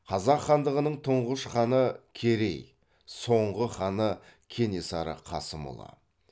қазақ хандығының тұңғыш ханы керей соңғы ханы кенесары қасымұлы